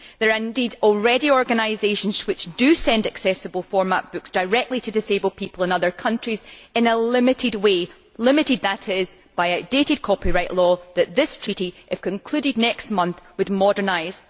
There are indeed already organisations which send accessible format books directly to disabled people in other countries in a limited way limited, that is, by outdated copyright law that this treaty, if concluded next month, would modernise.